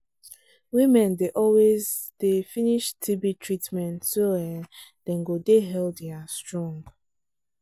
women dey always dey finish tb treatment so um dem go dey healthy and strong.